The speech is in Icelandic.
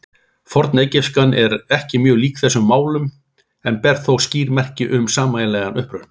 Fornegypskan er ekki mjög lík þessum málum en ber þó skýr merki um sameiginlegan uppruna.